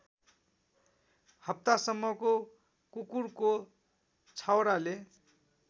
हप्तासम्मको कुकुरको छाउराले